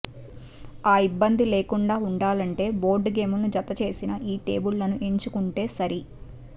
ఆ ఇబ్బంది లేకుండా ఉండాలంటే బోర్డుగేముల్ని జతచేసిన ఈ టేబుళ్లను ఎంచుకుంటే సరి